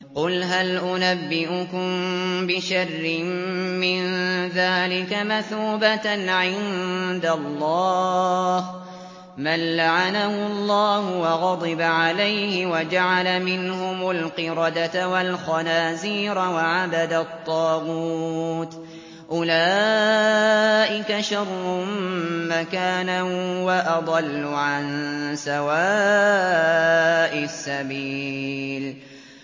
قُلْ هَلْ أُنَبِّئُكُم بِشَرٍّ مِّن ذَٰلِكَ مَثُوبَةً عِندَ اللَّهِ ۚ مَن لَّعَنَهُ اللَّهُ وَغَضِبَ عَلَيْهِ وَجَعَلَ مِنْهُمُ الْقِرَدَةَ وَالْخَنَازِيرَ وَعَبَدَ الطَّاغُوتَ ۚ أُولَٰئِكَ شَرٌّ مَّكَانًا وَأَضَلُّ عَن سَوَاءِ السَّبِيلِ